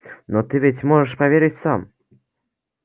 но ты ведь можешь поверить сам